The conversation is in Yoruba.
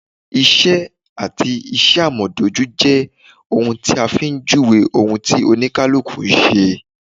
Isẹ́ àti iṣẹ́ amọdaju jẹ́ ohun tí a fi ń júwèé ohun tí Oníkálukú ń ṣe